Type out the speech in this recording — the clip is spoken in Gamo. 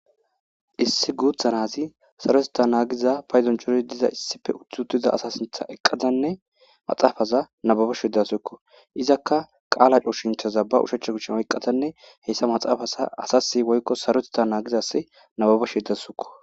issi guutha naazi sarotetha nagizaza paydon chori diza issipe uthutida asasintha eqqatanne maxaafaza nababashe dawzukko izakka qaala chooshinthaza ba ushacha kuchen oyqqatanne heyssa maxaafasa asasi woykko sarotita naagizasse nababa she dawzukko